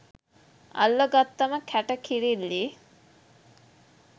අල්ල ගත්තම කැට කිරිල්ලී